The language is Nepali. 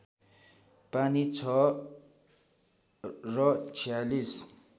पानी छ र ४६